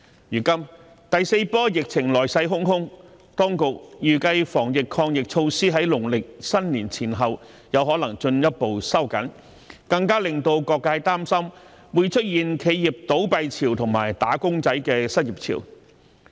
如今第四波疫情來勢洶洶，當局預計在農曆新年前後可能進一步收緊防疫抗疫措施，更加令到各界擔心會出現企業倒閉潮及"打工仔"的失業潮。